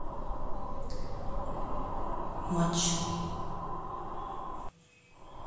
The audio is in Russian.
матч